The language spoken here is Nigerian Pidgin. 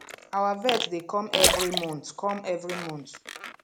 our vet dey come every month come every month